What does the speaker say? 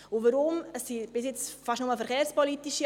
Weshalb steht jetzt nicht der Verkehrsdirektor hier?